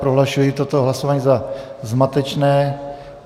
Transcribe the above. Prohlašuji toto hlasování za zmatečné.